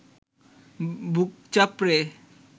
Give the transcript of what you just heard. বুক চাপড়ে